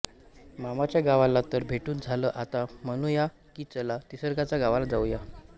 मामाच्या गावाला तर भेटून झालं आता म्हणूया कि चला निसर्गाच्या गावाला जाऊया